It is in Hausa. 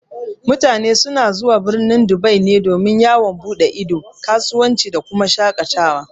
Mutane na zuwa birnin Dubai ne domin yawon buɗe ido, kasuwanci da kuma shaƙatawa.